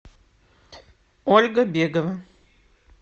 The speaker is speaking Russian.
ольга бегова